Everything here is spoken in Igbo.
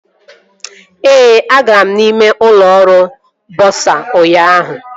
Ee, agara m ime ụlọ ọrụ bọsa ụnyaahụ